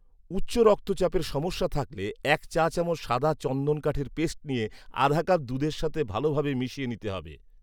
উচ্চ রক্তচাপের সমস্যা থাকলে এক চা চামচ সাদা চন্দন কাঠের পেস্ট নিয়ে, আধা কাপ দুধের সাথে ভালভাবে মিশিয়ে নিতে হবে